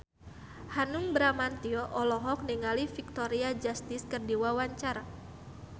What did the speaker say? Hanung Bramantyo olohok ningali Victoria Justice keur diwawancara